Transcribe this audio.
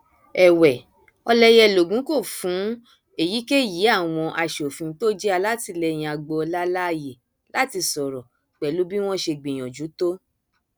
èwe ọlẹyẹlògún kò fún èyíkéyí àwọn asòfin tó jẹ alátìlẹyìn agboola láàyè láti sọrọ pẹlú bí wọn ṣe gbìyànjú tó